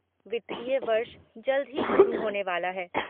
वित्तीय वर्ष जल्द ही खत्म होने वाला है।